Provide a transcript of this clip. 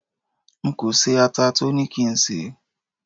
nko se ata to ni ki n se